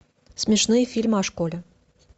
смешные фильмы о школе